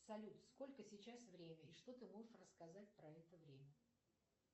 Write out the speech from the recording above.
салют сколько сейчас время и что ты можешь рассказать про это время